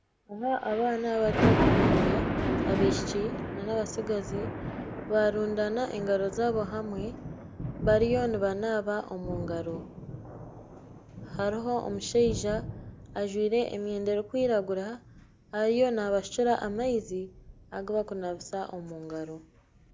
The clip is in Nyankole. Abaana bato munonga abaishiki nana abatsigazi barundaana engaro zaabo hamwe bariyo nibanaaba omungaro hariho omushaija ajwaire emyenda erikwiragura ariyo nabashukira amaizi agu bari kunabisa omungaro